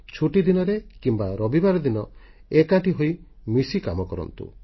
ଛୁଟିଦିନରେ କିମ୍ବା ରବିବାର ଦିନ ଏକାଠି ହୋଇ ମିଶି କାମ କରନ୍ତୁ